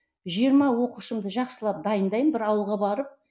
жиырма оқушымды жақсылап дайындаймын бір ауылға барып